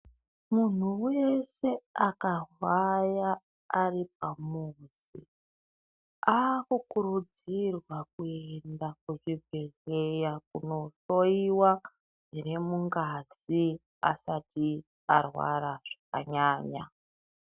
Munhu weeshe akarwara ari pamuzi ,aakukurudzirwa kuenda kuzvibhedhleya kunohloiwa, zviri mungazi asati arwara anyanya..